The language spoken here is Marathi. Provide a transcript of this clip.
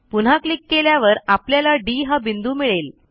पुन्हा क्लिक केल्यावर आपल्याला डी हा बिंदू मिळेल